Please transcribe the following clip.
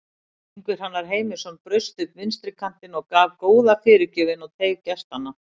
Ingi Hrannar Heimisson braust upp vinstri kantinn og gaf góða fyrirgjöf inn í teig gestanna.